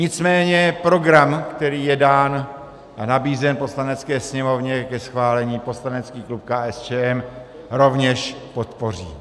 Nicméně program, který je nabízen Poslanecké sněmovně ke schválení, poslanecký klub KSČM rovněž podpoří.